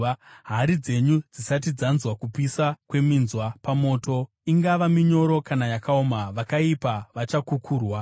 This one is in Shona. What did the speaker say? Hari dzenyu dzisati dzanzwa kupisa kweminzwa pamoto, ingava minyoro kana yakaoma, vakaipa vachakukurwa.